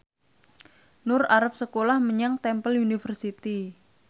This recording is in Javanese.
Nur arep sekolah menyang Temple University